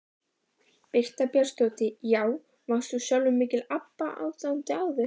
Birta Björnsdóttir: Já, varst þú sjálfur mikill Abba aðdáandi áður?